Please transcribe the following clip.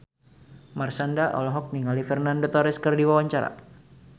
Marshanda olohok ningali Fernando Torres keur diwawancara